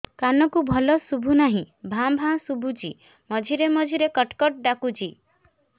କାନକୁ ଭଲ ଶୁଭୁ ନାହିଁ ଭାଆ ଭାଆ ଶୁଭୁଚି ମଝିରେ ମଝିରେ କଟ କଟ ଡାକୁଚି